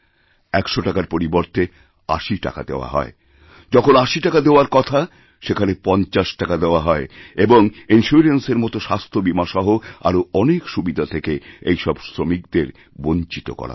১০০ টাকার পরিবর্তে ৮০ টাকা দেওয়াহয় যখন ৮০ টাকা দেওয়ার কথা সেখানে ৫০ টাকা দেওয়া হয় এবং ইনসিওরেন্সের মতোস্বাস্থ্য বীমাসহ আরও অনেক সুবিধা থেকে এই সব শ্রমিকদের বঞ্চিত করা হয়